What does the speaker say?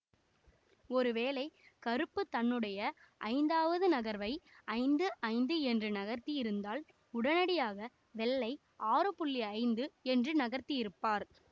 ஒருவேளை கருப்பு தன்னுடைய ஐந்தாவது நகர்வை ஐந்து ஐந்து என்று நகர்த்தியிருந்தால் உடனடியாக வெள்ளை ஆறு புள்ளி ஐந்து என்று நகர்த்தியிருப்பார்